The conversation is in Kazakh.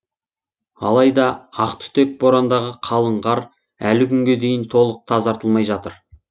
алайда ақтүтек борандағы қалың қар әлі күнге дейін толық тазартылмай жатыр